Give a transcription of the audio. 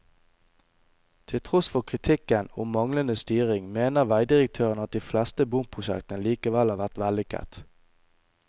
Til tross for kritikken om manglende styring mener veidirektøren at de fleste bomprosjektene likevel har vært vellykket.